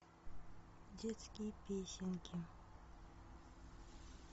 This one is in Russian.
детские песенки